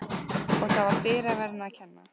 Og það var dyraverðinum að kenna.